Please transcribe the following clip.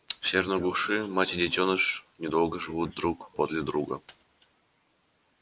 в северной глуши мать и детёныш недолго живут друг подле друга